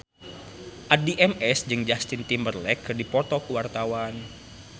Addie MS jeung Justin Timberlake keur dipoto ku wartawan